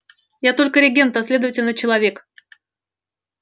я только регент а следовательно человек